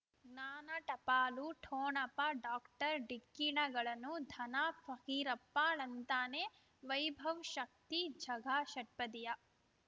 ಜ್ಞಾನ ಟಪಾಲು ಠೊಣಪ ಡಾಕ್ಟರ್ ಢಿಕ್ಕಿ ಣಗಳನು ಧನ ಫಕೀರಪ್ಪ ಳಂತಾನೆ ವೈಭವ್ ಶಕ್ತಿ ಝಗಾ ಷಟ್ಪದಿಯ